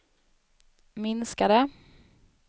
minskade